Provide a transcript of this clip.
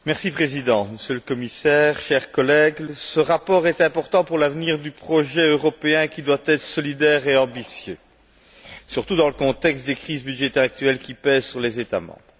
Monsieur le Président, Monsieur le Commissaire, chers collègues, ce rapport est important pour l'avenir du projet européen, qui doit être solidaire et ambitieux, surtout dans le contexte des crises budgétaires actuelles qui pèsent sur les États membres.